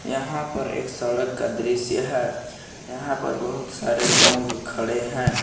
यहां पर एक सड़क का दृश्य है यहां पर बहुत सारे लोग खड़े हैं।